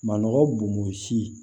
Manɔgɔ bomo si